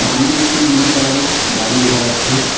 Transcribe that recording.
সামনে একটি নীল কালারের গাড়ি দেখা যাচ্ছে।